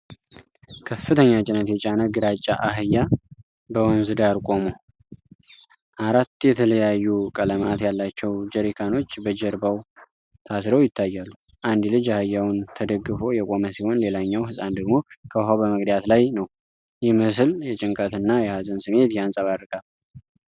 ከፍተኛ ጭነት የጫነ ግራጫ አህያ፣ በወንዝ ዳር ቆሞ፣ አራት የተለያዩ ቀለማት ያላቸው ጀሪካኖች በጀርባው ታስረው ይታያሉ። አንድ ልጅ አህያውን ተደግፎ የቆመ ሲሆን፣ ሌላኛው ሕፃን ደግሞ ከውኃው በመቅዳት ላይ ነው። ይህ ምስል የጭንቀትና የሀዘን ስሜት ያንጸባርቃል።